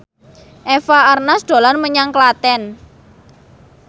Eva Arnaz dolan menyang Klaten